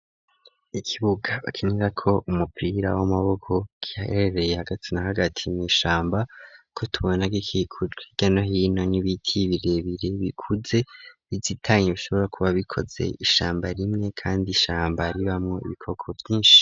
Ikibuga bakinira ko umupira w'amaboko, giherereye haga na hagati mw' ishamba, ko tubona gikikurwa hirya no yino n'ibiti birebire bikuze ,bizitanye bishobora kuba bikoze ishamba rimwe kandi ishamba riba mu ibikoko vyinshi.